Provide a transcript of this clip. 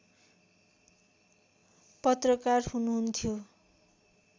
पत्रकार हुनुहुन्थ्यो